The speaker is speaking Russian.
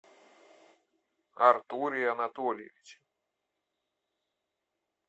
артуре анатольевиче